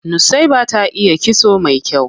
Nusaiba ta iya kitso mai kyau.